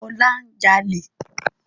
Ọlá ń jalè